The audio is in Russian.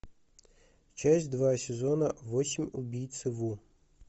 часть два сезона восемь убийцы ву